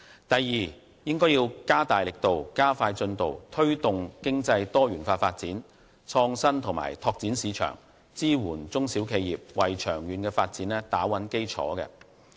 第二，加大力度，加快進度，推動經濟多元化發展、創新和拓展市場，支援中小企業，為長遠發展打穩基礎。